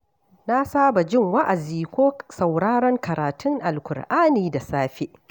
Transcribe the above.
Na saba jin wa’azi ko sauraron karatun Alƙur'ani da safe.